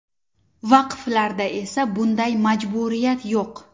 Vaqflarda esa bunday majburiyat yo‘q.